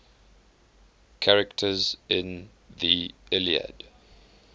characters in the iliad